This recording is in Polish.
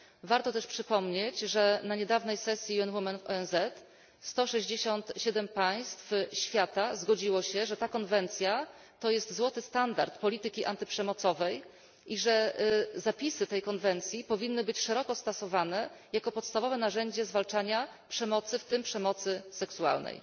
Warto też przypomnieć, że na niedawnej sesji ONZ poświęconej prawom człowieka sto sześćdziesiąt siedem państw świata zgodziło się, że ta konwencja to jest złoty standard polityki antyprzemocowej i że zapisy tej konwencji powinny być szeroko stosowane jako podstawowe narzędzie zwalczania przemocy, w tym przemocy seksualnej.